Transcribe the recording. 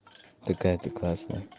такая ты классная